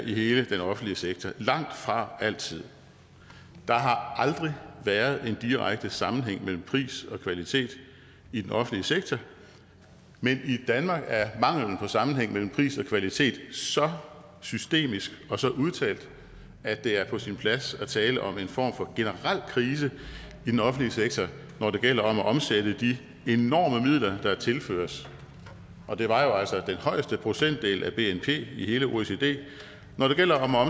i hele den offentlige sektor langtfra altid der har aldrig været en direkte sammenhæng mellem pris og kvalitet i den offentlige sektor men i danmark er manglen på sammenhæng mellem pris og kvalitet så systemisk og så udtalt at det er på sin plads at tale om en form for generel krise i den offentlige sektor når det gælder om at omsætte de enorme midler der tilføres og det var jo altså den højeste procentdel af bnp i hele oecd når det gælder om at